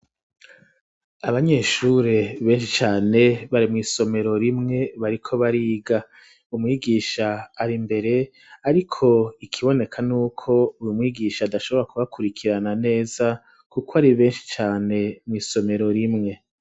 Abanyeshuri beshi cane bari mw'isomero rimwe bariko bariga umwigisha arimbere ariko ikiboneka nuko uyo mwigisha adashobora ku bakurikirana neza kuko ari beshi cane mw'isomero rimwe.